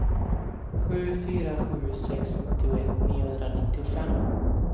sju fyra sju sex nittioett niohundranittiofem